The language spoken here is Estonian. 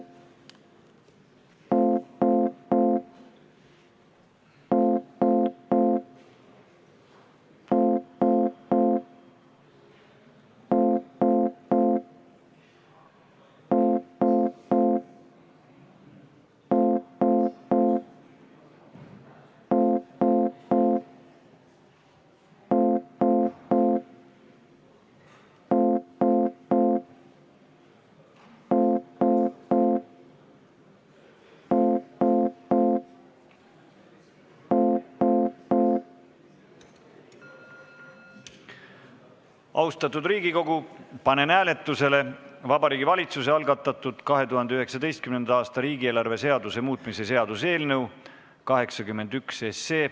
Austatud Riigikogu, panen hääletusele Vabariigi Valitsuse algatatud 2019. aasta riigieelarve seaduse muutmise seaduse eelnõu 81.